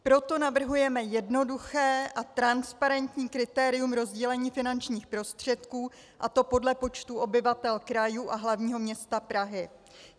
Proto navrhujeme jednoduché a transparentní kritérium rozdělení finančních prostředků, a to podle počtu obyvatel krajů a hlavního města Prahy.